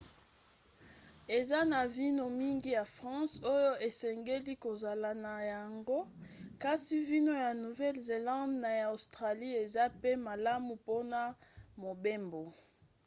eza na vino mingi ya france oyo esengeli kozala na yango kasi vino ya nouvelle-zelande na ya australie eza mpe malamu mpona mobembo